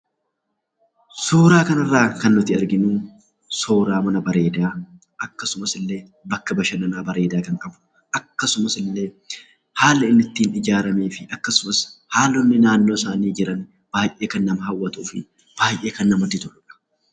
Suuraa kanarraa kan nuti arginu, suuraa mana bareedaa, akkasumas illee bakka bashannanaa bareedaa kan qabu, akkasumas illee haala inni ittiin ijaaramee fi haalonni naannoo sana jiran baay'ee kan nama hawwatuu fi baay'ee kan namatti toludha.